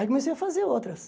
Aí comecei a fazer outras.